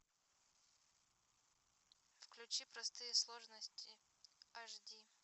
включи простые сложности аш ди